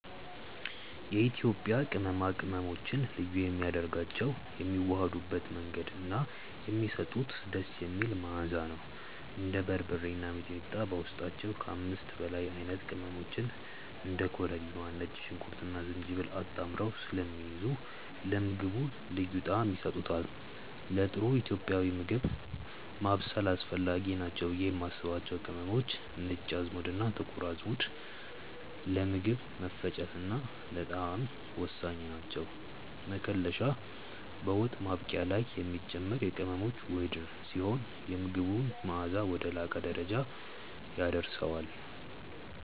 የኢትዮጵያ ቅመማ ቅመሞችን ልዩ የሚያደርጋቸው የሚዋሃዱበት መንገድ እና የሚሰጡት ደስ የሚል መዓዛ ነው። እንደ በርበሬ እና ሚጥሚጣ በውስጣቸው ከ5 በላይ አይነት ቅመሞችን (እንደ ኮረሪማ፣ ነጭ ሽንኩርትና ዝንጅብል) አጣምረው ስለሚይዙ ለምግቡ ልዩ ጣዕም ይሰጡታል። ለጥሩ ኢትዮጵያዊ ምግብ ማብሰል አስፈላጊ ናቸው ብዬ የማስባቸው ቅመሞች፦ ነጭ አዝሙድና ጥቁር አዝሙድ፦ ለምግብ መፈጨትና ለጣዕም ወሳኝ ናቸው። መከለሻ፦ በወጥ ማብቂያ ላይ የሚጨመር የቅመሞች ውህድ ሲሆን፣ የምግቡን መዓዛ ወደ ላቀ ደረጃ ያደርሰዋል።